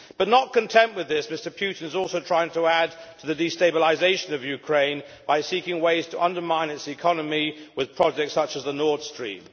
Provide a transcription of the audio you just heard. Not content with this, however, Mr Putin is also trying to add to the destabilisation of Ukraine by seeking ways to undermine its economy with projects such as Nord Stream.